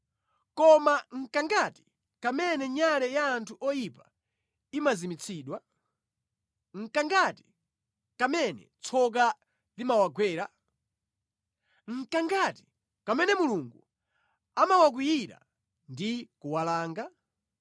“Koma nʼkangati kamene nyale ya anthu oyipa imazimitsidwa? Nʼkangati kamene tsoka limawagwera? Nʼkangati kamene Mulungu amawakwiyira ndi kuwalanga?